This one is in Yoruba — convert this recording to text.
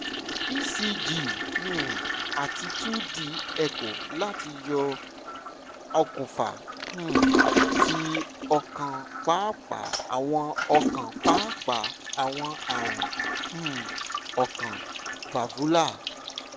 ecg um ati two d echo lati yọ okunfa um ti okan paapaa awọn okan paapaa awọn arun um ọkàn valvular